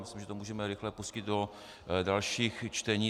Myslím, že to můžeme rychle pustit do dalších čtení.